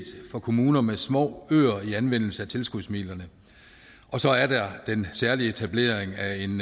for kommuner med små øer i anvendelse af tilskudsmidlerne og så er der den særlige etablering af en